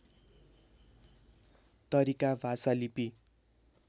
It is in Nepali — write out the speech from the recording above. तरिका भाषा लिपि